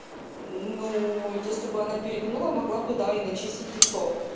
ну если бы она перегнула могла бы да и начистить лицо